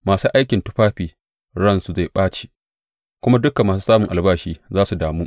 Masu aikin tufafi ransu zai ɓace, kuma dukan masu samun albashi za su damu.